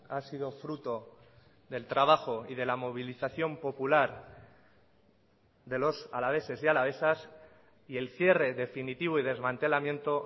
ha sido fruto del trabajo y de la movilización popular de los alaveses y alavesas y el cierre definitivo y desmantelamiento